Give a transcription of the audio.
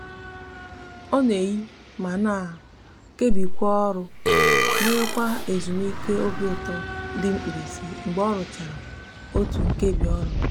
o n'eyi ma ma kebikwa oru we nwekwa ezumike obi uto di mkpirisi mgbe oruchara otu nkebi oru